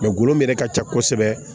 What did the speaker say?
golo min yɛrɛ ka ca kosɛbɛ